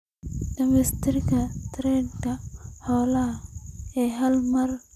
Dhimista tirada xoolaha ee hal meel waxay ka hortagtaa caabuqa.